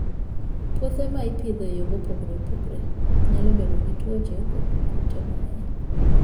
Puothe ma ipidho e yore mopogore opogore nyalo bedo gi tuoche kod kute mang'eny.